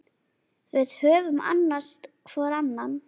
Við höfum annast hvor annan.